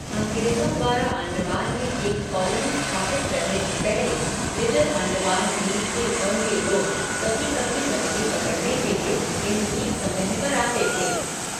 अंग्रेजों द्वारा अंडमान में एक कॉलोनी स्थापित करने से पहले, लिटिल अंडमान द्वीप के ओंगे लोग कभी कभी मछली पकड़ने के लिए इन द्वीपसमूह पर आते थे।